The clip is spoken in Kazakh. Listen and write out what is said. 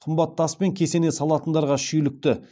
қымбат таспен кесене салатындарға шүйлікті